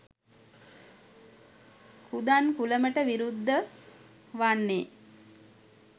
කූදන්කුලමට විරුද්ධ වන්නේ